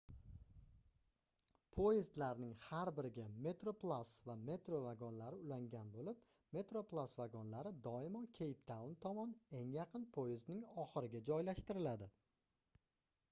poyezdlarning har biriga metroplus va metro vagonlari ulangan boʻlib metroplus vagonlari doimo keyptaun tomon eng yaqin poyezdning oxiriga joylashtiriladi